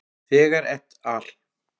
Þegar et al.